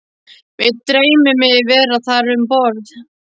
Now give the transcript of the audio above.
Mig dreymir mig vera þar um borð